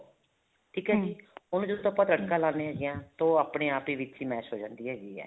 ਠੀਕ ਹੈ ਜੀ ਉਹਨੂੰ ਜਦੋਂ ਆਪਾਂ ਤੜਕਾ ਲਾਂਦੇ ਹੈਗੇ ਹਾਂ ਤਾਂ ਆਪਣੇ ਆਪ ਹੀ ਵਿੱਚ mash ਹੋ ਜਾਂਦੀ ਹੈਗੀ ਹੈ